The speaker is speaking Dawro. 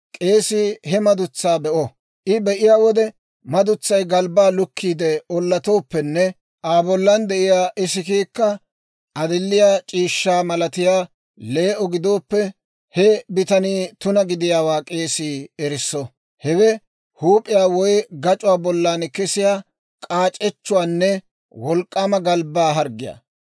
k'eesii he madutsaa be'o. I be'iyaa wode madutsay galbbaa lukkiide ollatooppenne Aa bollan de'iyaa isikiikka adilliyaa c'iishshaa malatiyaa lee"o gidooppe, he bitanii tuna gidiyaawaa k'eesii erisso. Hewe huup'iyaa woy gac'uwaa bollan kesiyaa k'aac'echchuwaanne wolk'k'aama galbbaa harggiyaa.